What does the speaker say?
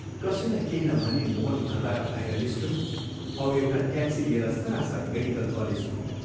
कसैलाई केही नभनी मोहन घरबाट बाहिर निस्क्यो औ एउटा ट्याक्सी लिएर सरासर मेडिकल कलेज पुग्यो।